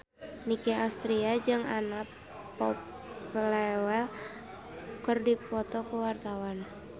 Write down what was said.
Nicky Astria jeung Anna Popplewell keur dipoto ku wartawan